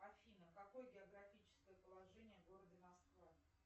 афина какое географическое положение города москва